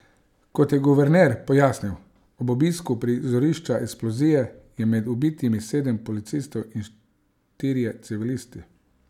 Kot je guverner pojasnil ob obisku prizorišča eksplozije, je med ubitimi sedem policistov in štirje civilisti.